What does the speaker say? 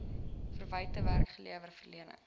verwagte werklewe verleng